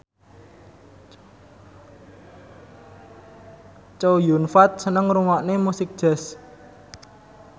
Chow Yun Fat seneng ngrungokne musik jazz